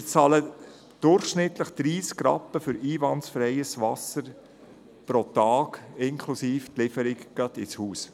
Durchschnittlich bezahlen wir für einwandfreies Wasser 30 Rappen pro Tag, inklusive Lieferung ins Haus.